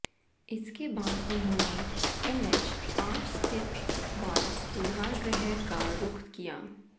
इसके बाद उन्होंने एनएच पांच स्थित बाल सुधारगृह का रुख किया